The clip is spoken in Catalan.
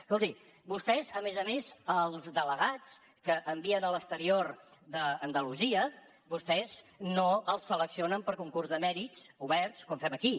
escolti vostès a més a més els delegats que envien a l’exterior d’andalusia vostès no els seleccionen per concurs de mèrits oberts com fem aquí